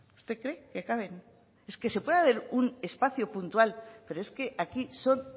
usted cree que caben es que se puede haber un espacio puntual pero es que aquí son